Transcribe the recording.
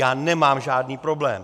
Já nemám žádný problém.